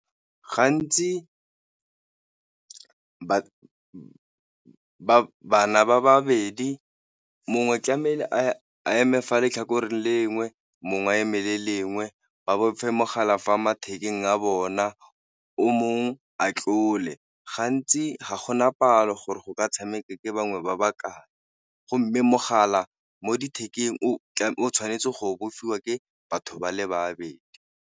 Gantsi bana ba babedi mongwe tlamehile a a eme fa letlhakoreng le lengwe mongwe eme le lengwe, ba bofe mogala fa mathekeng a bona, o mongwe a tlola gantsi ga gona palo gore go ka tshameka ke bangwe ba bakae, go mme mogala mo o o tshwanetse go bofiwa ke batho ba le babedi.